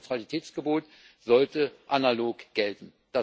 Aber das Neutralitätsgebot sollte analog gelten.